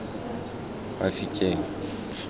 mafikeng